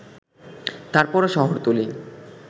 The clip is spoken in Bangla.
তারপরও শহরতলী